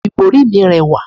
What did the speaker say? ibori mi rẹwa